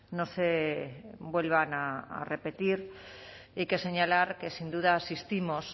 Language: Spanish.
no se vuelvan a repetir y que señalar que sin duda asistimos